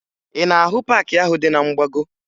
Ị na-ahụ paakị ahụ dị na mgbago?